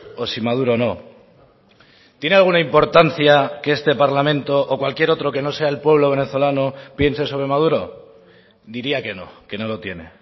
o si maduro no tiene alguna importancia que este parlamento o cualquier otro que no sea el pueblo venezolano piense sobre maduro diría que no que no lo tiene